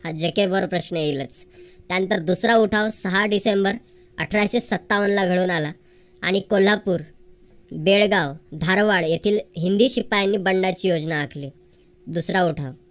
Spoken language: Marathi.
हा जॅकॅबवर प्रश्न येईल त्यानंतर दुसरा उठाव सहा डिसेंबर अठराशे सत्तावनला घडून आला. आणि कोल्हापूर, बेळगाव, धारवाड येथील हिंदी शिपायांनी बंडाची योजना आखली. दुसरा उठाव.